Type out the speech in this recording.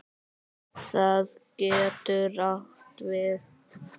Það getur átt við